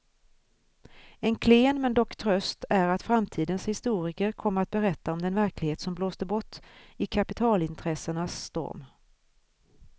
En klen men dock tröst är att framtidens historiker kommer att berätta om den verklighet som blåste bort i kapitalintressenas storm.